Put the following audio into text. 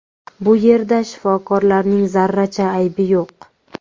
Bu yerda shifokorlarning zarracha aybi yo‘q.